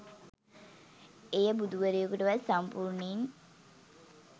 එය බුදුවරයකුටවත් සම්පූර්ණයෙන්